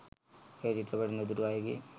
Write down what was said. එය චිත්‍රපටය නොදුටු අයගේ